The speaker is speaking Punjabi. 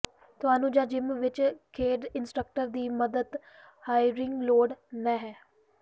ਤੁਹਾਨੂੰ ਜ ਜਿੰਮ ਵਿੱਚ ਖੇਡ ਇੰਸਟ੍ਰਕਟਰ ਦੀ ਮਦਦ ਹਾਈਕਿੰਗ ਲੋੜ ਨਹ ਹੈ